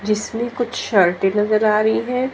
जिसमें कुछ शर्टे नजर आ रहीं हैं।